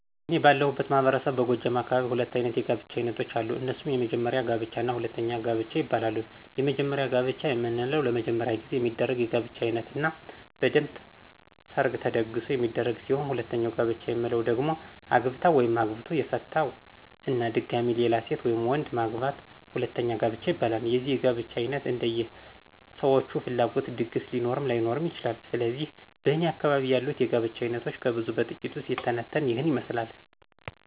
እኔ ባለሁበት ማህበረሰብ በጎጃም አካባቢ ሁለት አይነት የጋብቻ አይነቶች አሉ። እነሱም:- የመጀመሪያ ጋብቻ እና ሁለተኛ ጋብቻ ይባላሉ። የመጀመሪያ ጋብቻ የምንለው ለመጀመሪያ ጊዜ የሚደረግ የጋብቻ አይነት እና በደንብ ሠርግ ተደግሶ የሚደረግ ሲሆን ሁለተኛ ጋብቻ የምንለው ደግሞ አግብታ/ቶ/ የፈታ እና ድጋሚ ሌላ ሴት/ወንድ/ማግባት ሁለተኛ ጋብቻ ይባላል። የዚህ የጋብቻ አይነት እንደየ ሠዎቹ ፍላጎት ድግስ ሊኖርም ላይኖርም ይችላል። ስለዚህ በእኔ አካባቢ ያሉት የጋብቻ አይነቶች ከብዙ በጥቂቱ ሲተነተን ይህን ይመስላል።